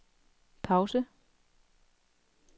pause